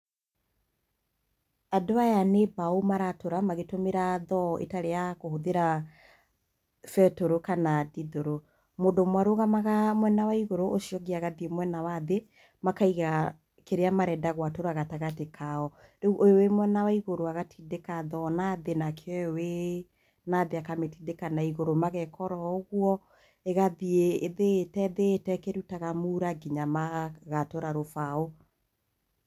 Andũ aya nĩ mbaũ maratũra magĩtũmĩra thoo itarĩ ya kũhũthĩra betũrũ kana ndithũrũ. Mũndũ ũmwe arũgamaga mwena wa igũru na ũcio ũngĩ agathiĩ mwena wa thĩ, makaiga kĩrĩa marenda gwatũra gatagatĩ kao. Rĩu ũyũ wĩ mwena wa igũrũ agatindĩka mwena wa thĩ, nake ũyũ wĩ nathĩ akamĩtindĩka naigũrũ. Mageka oro ũguo, ĩgathiĩ ĩthĩĩte ithĩĩte ĩkĩrutaga mũra, nginya magatũra rũbaũ.